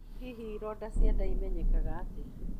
Hihi ironda cia nda imenyekaga atĩa?